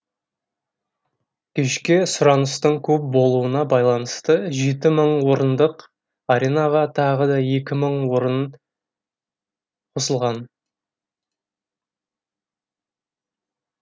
кешке сұраныстың көп болуына байланысты жеті мың орындық аренаға тағы да екі мың орын қосылған